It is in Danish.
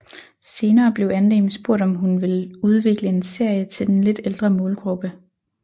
Senere blev Andem spurgt om hun ville udvikle en serie til den lidt ældre målgruppe